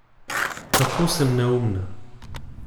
Kako sem neumna!